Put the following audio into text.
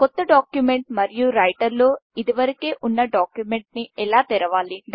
కొత్త డాక్యుమెంట్ మరియు రైటర్ లో ఇప్పటికే ఉన్న డాక్యుమెంట్ని ఎలా తెరావలి